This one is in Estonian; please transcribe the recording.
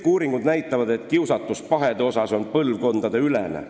Kõik uuringud näitavad, et pahede kiusatus on põlvkondadeülene.